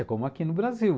É como aqui no Brasil.